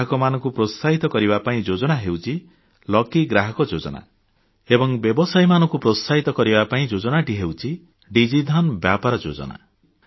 ଗ୍ରାହକମାନଙ୍କୁ ପ୍ରୋତ୍ସାହିତ କରିବା ପାଇଁ ଯୋଜନା ହେଉଛି ଲକି ଗ୍ରାହକ ଯୋଜନା ଏବଂ ବ୍ୟବସାୟୀମାନଙ୍କୁ ପ୍ରୋତ୍ସାହିତ କରିବା ପାଇଁ ଯୋଜନାଟି ହେଉଛି ଡିଜି ଧନ ବ୍ୟାପାର ଯୋଜନା